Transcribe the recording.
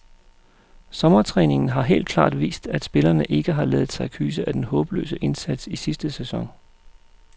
Sommertræningen har helt klart vist, at spillerne ikke har ladet sig kyse af den håbløse indsats i sidste sæson.